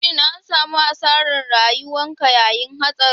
Shin an samu asarar rayuka yayin hatsarin.